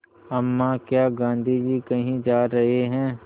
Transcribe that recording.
अम्मा क्या गाँधी जी कहीं जा रहे हैं